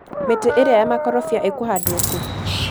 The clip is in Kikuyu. mĩtĩ ĩrĩa ya makorombĩa ĩkũhandwo kũ